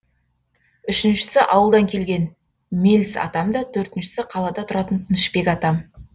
үшіншісі ауылдан келген меліс атам да төртіншісі қалада тұратын тынышбек атам